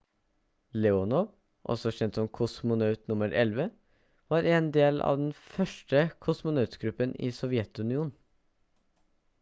leonov også kjent som «kosmonaut nr. 11» var en del av den første kosmonautgruppen i sovjetunionen